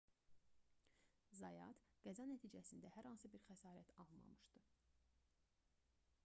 zayat qəza nəticəsində hər hansı bir xəsarət almamışdı